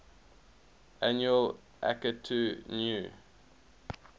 annual akitu new